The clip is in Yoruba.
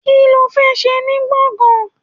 Kí ló fẹ́ ṣe ní gbọ̀ngán?